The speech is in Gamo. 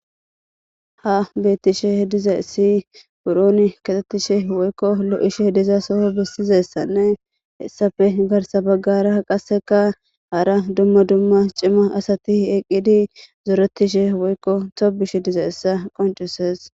ha bettishe diza issi buroni katettishe woykko lo7ishe diza soho bissizessanne hessafe garsa baggara qaseka hara dumma dumma cima asati eqqidi zoretishe woykko tobish diza issa qoncises